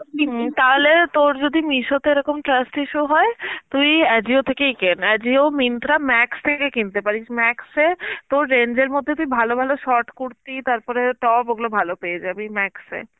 তাহলে তোর যদি Meesho তে এরকম trust issue হয় তুই Ajio থেকেই কেন. Ajio, Myntra, Max থেকে কিনতে পারিস Max এ তোর range এর মধ্যে তুই ভালো ভালো short কুর্তি তারপরে top ওগুলো ভালো পেয়ে যাবি Max এ.